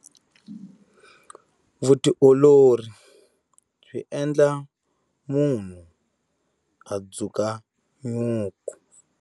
Vutiolori byi endla munhu a dzuka nyuku.